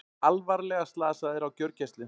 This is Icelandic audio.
Alvarlega slasaðir á gjörgæslu